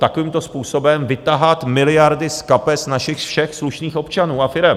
Takovýmto způsobem vytahat miliardy z kapes našich všech slušných občanů a firem.